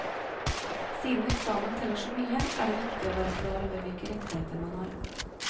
Siden eksamen teller så mye er det viktig å være klar over hvilke rettigheter man har.